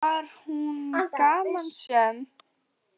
Var hún gamansöm?